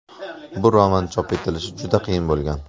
Bu roman chop etilishi juda qiyin bo‘lgan.